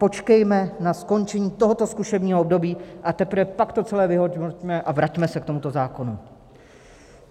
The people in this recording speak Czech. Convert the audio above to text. Počkejme na skončení tohoto zkušebního období, a teprve pak to celé vyhodnoťme a vraťme se k tomuto zákonu.